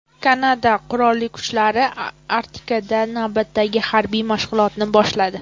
Kanada Qurolli kuchlari Arktikada navbatdagi harbiy mashg‘ulotlarni boshladi.